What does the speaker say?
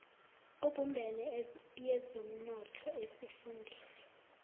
ebumbene yezomnotho esifundeni